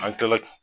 An kila